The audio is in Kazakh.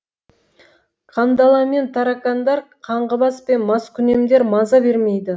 қандала мен тарақандар қаңғыбас пен маскүнемдер маза бермейді